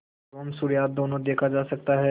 एवं सूर्यास्त दोनों देखा जा सकता है